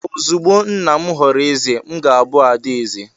Ozugbo nna m ghọrọ eze, m ga-abụ ada eze..